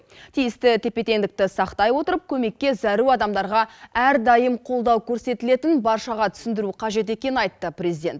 тиісті тепе теңдікті сақтай отырып көмекке зәру адамдарға әрдайым қолдау көрсетілетінін баршаға түсіндіру қажет екенін айтты президент